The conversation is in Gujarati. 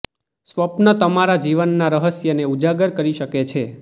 સ્વપ્ન તમારા જીવનના રહસ્યને ઉજાગર કરી શકે છે